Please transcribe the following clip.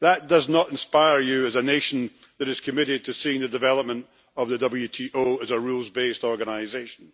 That does not inspire you as a nation that is committed to seeing the development of the WTO as a rules based organisation.